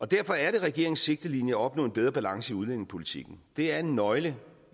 derfor er det regeringens sigtelinje at opnå en bedre balance i udlændingepolitikken det er en nøgle